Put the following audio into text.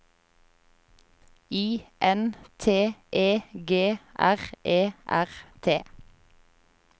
I N T E G R E R T